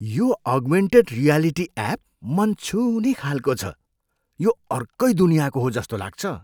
यो augmented reality app मन छुने खालको छ। यो अर्कै दुनियाँको हो जस्तो लाग्छ।